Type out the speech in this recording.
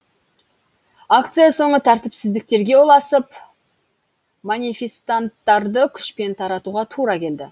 акция соңы тәртіпсіздіктерге ұласып манифестанттарды күшпен таратуға тура келді